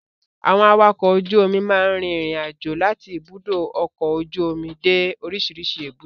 Àwọn Awakọ̀ ojú omi máa ń rin ìrìn àjò láti ibùdó ọkọ ojú omi dé orísìírísìí èbúté.